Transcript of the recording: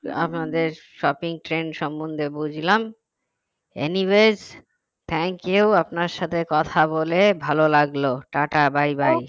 আপনাদের shopping trends সম্বন্ধে বুঝলাম anyways thank you আপনার সাথে কথা বলে ভালো লাগলো টা টা by by